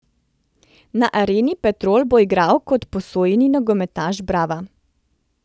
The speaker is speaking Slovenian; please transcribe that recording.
Na Areni Petrol bo igral kot posojeni nogometaš Brava.